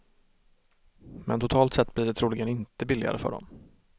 Men totalt sett blir det troligen inte billigare för dem.